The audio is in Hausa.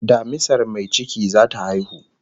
Damisar mai ciki zata haihu